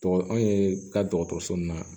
Tɔgɔ anw ye taa dɔgɔtɔrɔso in na